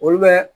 Olu bɛ